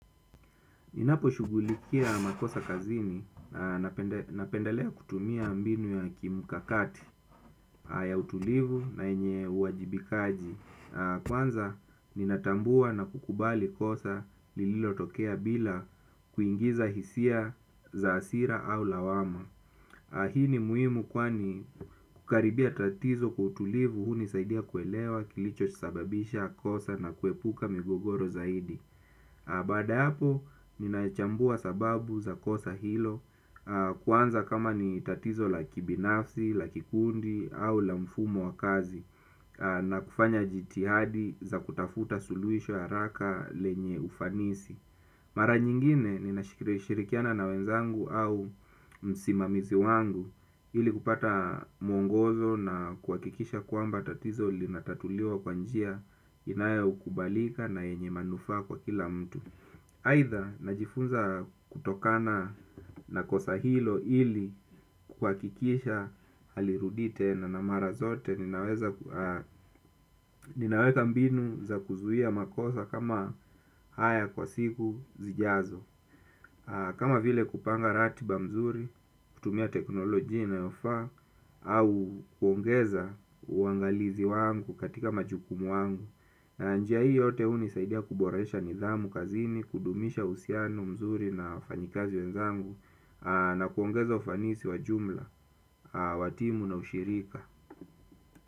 Ninaposhugulikia makosa kazini napendalea kutumia mbinu ya kimukakati ya utulivu na yenye uajibikaji. Kwanza, ninatambua na kukubali kosa lililotokea bila kuingiza hisia za hasira au lawama. Hii ni muhimu kwani kukaribia tatizo kwa utulivu hunisaidia kuelewa kilicho sababisha kosa na kuepuka migogoro zaidi. Baada ya hapo, ninachambua sababu za kosa hilo kwanza kama ni tatizo la kibinafsi, la kikundi au la mfumo wa kazi na kufanya jitihadi za kutafuta suluhisho la haraka lenye ufanisi. Mara nyingine ninashirikiana na wenzangu au msimamizi wangu ili kupata mwongozo na kuhakikisha kwamba tatizo linatatuliwa kwa njia inayokubalika na yenye manufaa kwa kila mtu. Aidha, najifunza kutokana na kosa hilo ili kuhakikisha halirudii tena na mara zote ninaweka mbinu za kuzuia makosa kama haya kwa siku zijazo. Kama vile kupanga ratiba mzuri, kutumia teknolojia inayofaa, au kuongeza uangalizi wangu katika majukumu wangu, njia hii yote hunisaidia kuboresha nidhamu kazini, kudumisha uhusiano mzuri na wafanyikazi wenzangu, na kuongeza ufanisi wa jumla, watimu na ushirika.